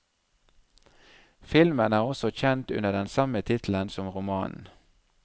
Filmen er også kjent under den samme tittelen som romanen.